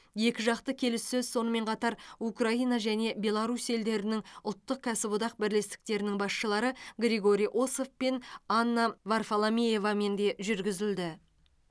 екіжақты келіссөз сонымен қатар украина және беларусь елдерінің ұлттық кәсіподақ бірлестіктерінің басшылары григорий осов пен анна варфоломеевамен де жүргізілді